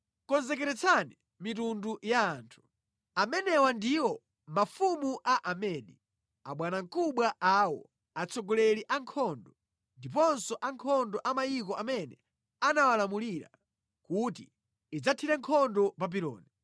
Konzekeretsani mitundu ya anthu. Amenewa ndiwo mafumu a Amedi, abwanamkubwa awo, atsogoleri a ankhondo, ndiponso ankhondo a mayiko amene amawalamulira, kuti idzathire nkhondo Babuloni.